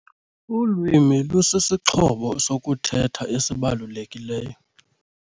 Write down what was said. Ulwimi lusisixhobo sokuthetha esibalulekileyo.